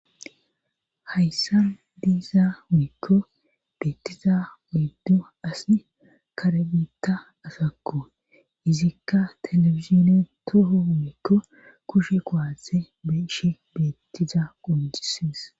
Hayssa diiza miikko beettiza uyddu asi kare biitta asakko izikka telefizine toho miikko kushe qoaathe beshe beettiza qoncides.